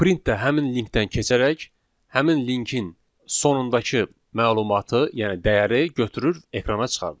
Print də həmin linkdən keçərək həmin linkin sonundakı məlumatı, yəni dəyəri götürür ekrana çıxardır.